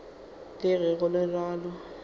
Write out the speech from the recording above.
le ge go le bjalo